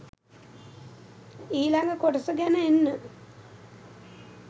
ඊලඟ කොටස ගෙන එන්න.